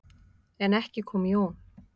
En ekki kom Jón.